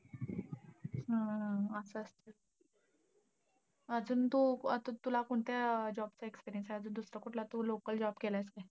हा हा. असंय. अजून तू अं अजून तुला कोणत्या job चा experience आहे तू दुसरा कुठला तू local job केलायेस का?